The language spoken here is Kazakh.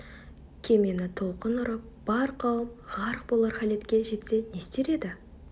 кемені толқын ұрып бар қауым ғарқ болар халетке жетсе не істер еді